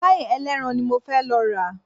Páì ẹlẹ́ran ni mo fẹ́ lọ rà